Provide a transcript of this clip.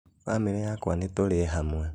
Bamĩrĩ yakwa nĩtũrĩe hamwe